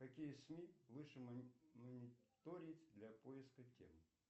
какие сми лучше мониторить для поиска тем